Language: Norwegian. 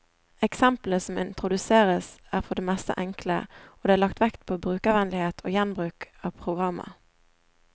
Eksemplene som introduseres, er for det meste enkle, og det er lagt vekt på brukervennlighet og gjenbruk av programmer.